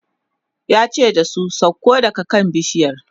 yace da su "sauko daga kan bishiyar!"